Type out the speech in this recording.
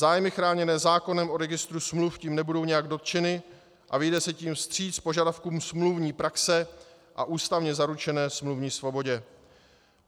Zájmy chráněné zákonem o registru smluv tím nebudou nijak dotčeny a vyjde se tím vstříc požadavkům smluvní praxe a ústavně zaručené smluvní svobodě.